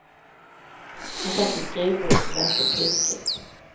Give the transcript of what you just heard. Han satt vid skrivbordet och läste en tidskrift.